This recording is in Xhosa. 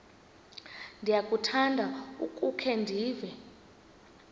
ndiyakuthanda ukukhe ndive